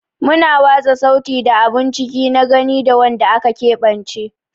Muna watsa sauti da abun ciki na gani ga wanda aka keɓance.